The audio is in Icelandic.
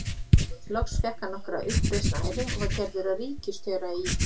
Loks fékk hann nokkra uppreisn æru og var gerður að ríkisstjóra í